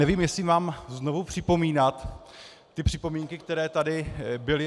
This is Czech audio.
Nevím, jestli mám znovu připomínat ty připomínky, které tady byly.